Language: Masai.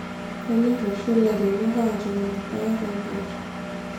kenyor oshi ilairemok aatuun ilpayek ompoosho